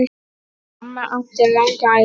Mamma átti langa ævi.